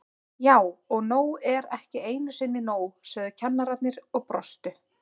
Já og nóg er ekki einu sinni nóg, sögðu kennararnir og brostu.